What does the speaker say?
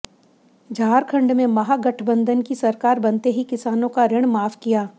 झारखंड में महागठबंधन की सरकार बनते ही किसानों का ऋण माफ किया